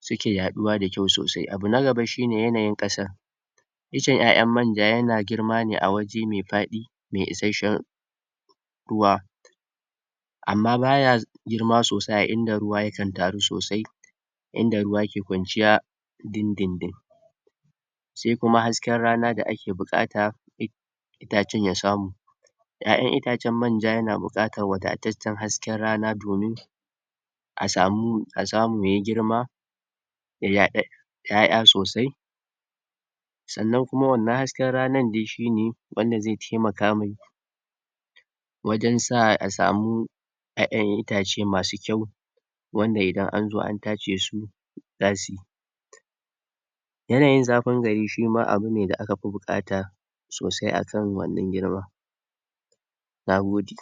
suke yaɗuwa da kyau sosai. Abu na gaba shine yanayin ƙasa iccen ƴaƴan manja yana girma ne a waje me faɗi me isashshen ruwa, amma baya girma sosai a inda ruwa yakan taru sosai, inda ruwa ke kwanciya dindindin, se kuma hasken rana da ake buƙata itacen ya samu, ƴaƴan itacen manja yana buƙatar wadataccen hasken rana domin a samu a samu yayi girma ya yaɗa ƴaƴa sosai, sannan kuma wannan hasken ranan de shine wanda ze temaka me wajen sa a samu ƴaƴan itace masu kyau wanda idan anzo an tace su zasi. Yanayin zafin gari shima abune da aka fi buƙata sosai akan wannan girma, na gode.